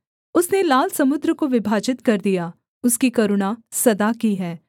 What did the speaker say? उसने लाल समुद्र को विभाजित कर दिया उसकी करुणा सदा की है